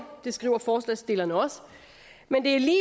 det skriver forslagsstillerne også men det er lige